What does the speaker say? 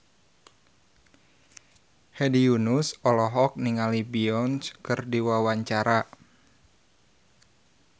Hedi Yunus olohok ningali Beyonce keur diwawancara